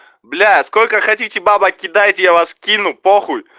блять сколько хотите бабак кидайте я вас кину по хуй